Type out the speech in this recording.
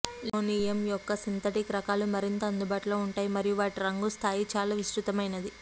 linoleum యొక్క synthetic రకాలు మరింత అందుబాటులో ఉంటాయి మరియు వాటి రంగు స్థాయి చాలా విస్తృతమైనది